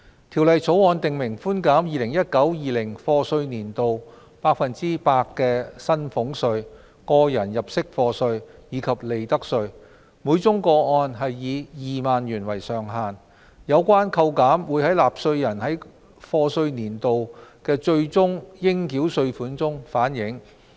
《條例草案》訂明寬減 2019-2020 課稅年度百分之百的薪俸稅、個人入息課稅，以及利得稅，每宗個案以2萬元為上限，有關扣減會在納稅人該課稅年度的最終應繳稅款中反映。